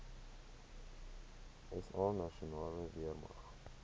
sa nasionale weermag